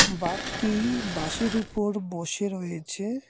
বাঘটি বাঁশের ওপর বসে রয়েছে।